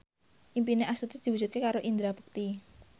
impine Astuti diwujudke karo Indra Bekti